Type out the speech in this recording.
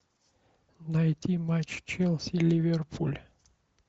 найти матч челси ливерпуль